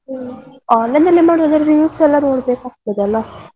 ಹ್ಮ್ online ಅಲ್ಲಿ ಮಾಡುದಾದ್ರೆ reviews ಎಲ್ಲ ನೋಡಬೇಕಾಗ್ತದೆ ಅಲ್ಲ.